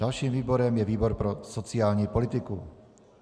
Dalším výborem je výbor pro sociální politiku.